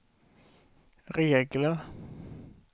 regler